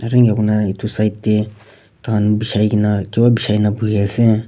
aru enakurna edu side tae tahan bijai kaena kipa bijaikaena buhiase.